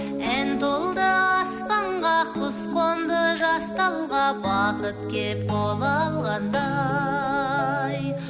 ән толды аспанға құс қонды жас талға бақыт келіп қол алғандай